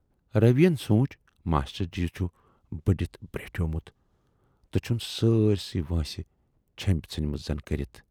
"روی یَن سونچ ماشٹر جی چھُ بٔڈِتھ بریٹھیومُت تہٕ چھَن سٲرۍ سٕے وٲنٛسہِ چھیمبۍ ژھُنۍمٕژَن کٔرِتھ۔